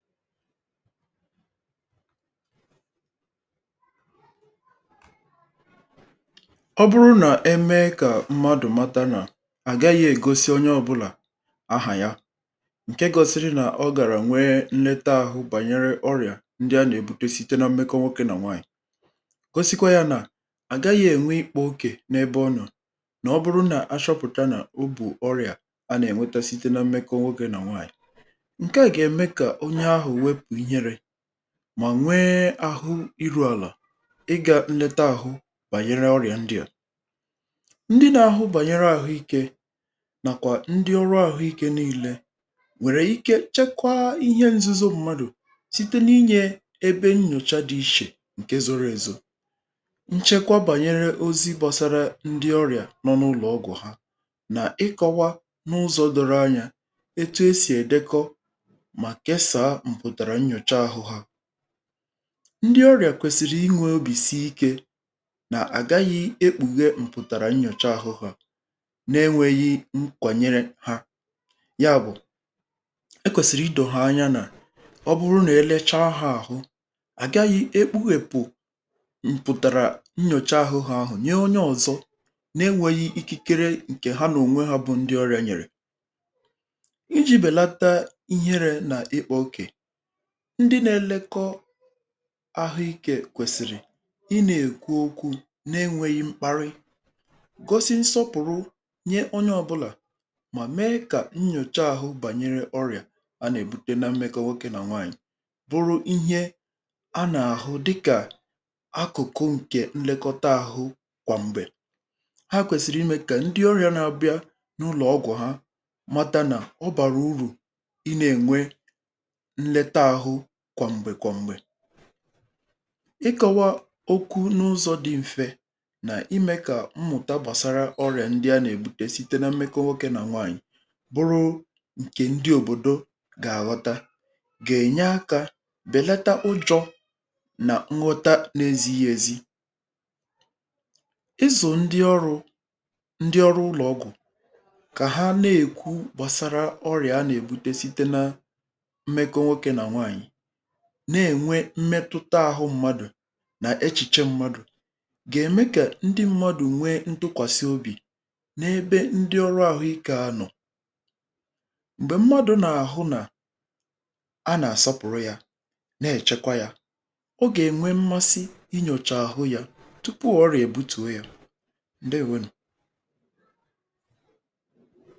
Ọ bụrụ na-emee ka mmadụ mata nà àgaghị egosi onye ọbụlà ahà ya, ǹke gọsịrị nà ọ gàrà nwee nneta ahụ̀ bànyere ọrị̀à ndị anà-èbutosite na mmekọ nwokė nà nwaanyị̀, gosikwa yȧ nà àgaghị ènwe ikpo okè n’ebe ọ nọ̀, nà ọ bụrụ nà achọpụ̀ta nà obù ọrị̀à anà-ènweta site na mmekọ nwokė nà nwaanyị̀. Nkeà gaà-èmé kà onyé áhụ wépụ̀ ịhéré mà nwee àhụ iru àlà, ị gà nleta àhụ bànyere ọrịà ndị à. Ndị nȧ-ahụ̀ bànyere àhụikė nàkwà ndị ọrụ àhụikė niilė nwèrè ike chekwaa ihe nzuzo mmadụ̀, site n’inyė ebe nnyòcha dị ichè ǹke zoro èzò, nchekwa bànyere ozi gbọsara ndị ọrịà nọ n’ụlọ̀ ọgwụ̀ ha, nà ịkọwa n’ụzọ̇ doro anyȧ etu e sì èdekọ mà késàà mpụtàrà nnyòcha ahụ́ ha. Ndị ọrịà kwesịrị inwė obì si ikė, nà-àgaghị ekpughé mpụtàrà nnyòcha ahụ́ ha na-enwėghi nkwànyere ha, Ya bụ̀, e kwèsị̀rị idòghọ̀ anya nà ọ bụrụ nà elechaa ha ahụ, àgaghị ekpughèpù mpụ̀tàrà nnyòcha ahụ́ ha ahụ̀ nye onye ọ̀zọ na-enwėghi ikikere ǹkè ha nà ònwe ha bụ ndị ọrịȧ nyèrè. Iji bèlata ihere nà ịkpọ okè, ndị na-elekọ ahụikė kwèsìrì ị na-ekwu okwu̇ na-enwėghi̇ mkparị, gosi nsọpụ̀rụ nye onye ọbụlà mà mee kà nnyòcha àhụ bànyere ọrịà a na-èbute na mmekọ nwokė nà nwaànyị̀ bụrụ ihe a nà-àhụ dịkà akụ̀kụ ǹkè nlekọta àhụ kwà m̀gbè. Há kwèsìrì imė kà ndị ọrịà na-abịa n’ụlọ̀ ọgwụ̀ ha matanà ọ bàrà urù ị na-ènwe kwọm̀gbè kwọm̀gbè, ịkọ̇wȧ okwu n’ụzọ̇ dị̇ m̀fe nà ime kà mmụ̀ta gbàsara ọrịà ndị a nà-èbute site na mmekọ nwokė nà nwaànyị̀ bụrụ ǹkè ndị òbòdo gà-àghọta, gà-ènye akȧ bèlata ụjọ̇ nà nghọta n’ezighi̇ èzi. Ịzụ̀ ndị ọrụ̇, ndị ọrụ ụlọ̀ ọgwụ̀ kà ha na-èkwu gbàsara ọrịà a nà-èbute site na mmekọ nwoké nà nwàànyị, na-enwe mmetụta ahụ mmadụ̀ na echiche mmadụ̀, ga-eme ka ndị mmadụ nwe ntụkwasị obi̇ n’ebe ndị ọrụ ahụ ike anọ̀. Mgbè mmadụ na-ahụ na a na-asọpụrụ ya, na-echekwa ya, Ọ ga-enwe mmasị inyocha ahụ ya tụpụ ọrịa e butùo ya. Ndééwo nụ.